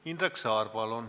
Indrek Saar, palun!